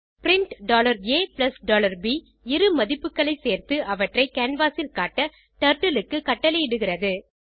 print a b இரு மதிப்புகளைச் சேர்த்து அவற்றை கேன்வாஸ் ல் காட்ட டர்ட்டில் க்கு கட்டளையிடுகிறது